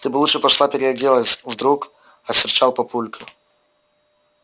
ты бы лучше пошла переоделась вдруг осерчал папулька